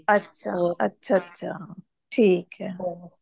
ਅੱਛਾ ਅੱਛਾ ਅੱਛਾ ਟਿੱਕ ਹੈ